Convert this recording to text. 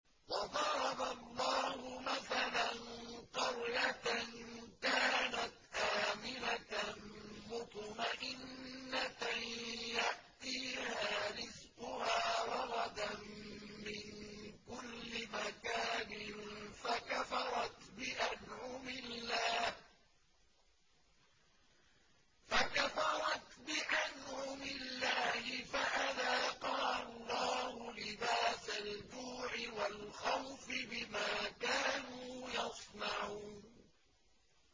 وَضَرَبَ اللَّهُ مَثَلًا قَرْيَةً كَانَتْ آمِنَةً مُّطْمَئِنَّةً يَأْتِيهَا رِزْقُهَا رَغَدًا مِّن كُلِّ مَكَانٍ فَكَفَرَتْ بِأَنْعُمِ اللَّهِ فَأَذَاقَهَا اللَّهُ لِبَاسَ الْجُوعِ وَالْخَوْفِ بِمَا كَانُوا يَصْنَعُونَ